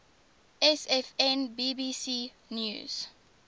sfn bbc news